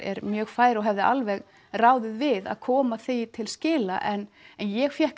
er mjög fær og hefði alveg ráðið við að koma því til skila en ég fékk